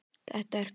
Það er klárt.